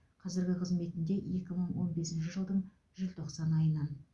қазіргі қызметінде екі мың он бесінші жылдың желтоқсан айынан